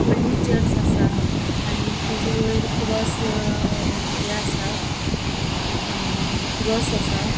होडली चर्च असा आणि तेजे वैर क्रॉस ये असा अ क्रॉस असा.